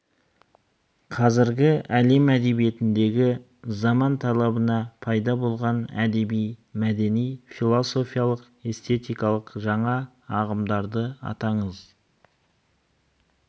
қазіргі әлем әдебиетіндегі заман талабына пайда болған әдеби мәдени философиялық эстетикалық жаңа ағымдарды атаңыз